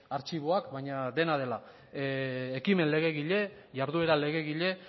artxiboak baina dena dela ekimen legegile jarduera legegile